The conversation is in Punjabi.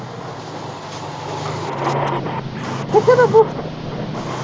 ਬੱਬੂ ਕਿੱਥੇ